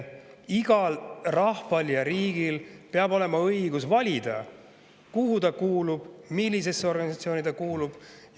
Igal rahval ja riigil peab olema õigus valida, kuhu ta kuulub, millisesse organisatsiooni ta kuulub.